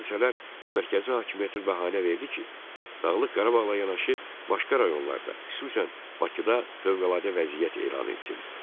Bu hadisələr mərkəzi hakimiyyətə bəhanə verdi ki, Dağlıq Qarabağla yanaşı başqa rayonlarda, xüsusən Bakıda fövqəladə vəziyyət elan etsin.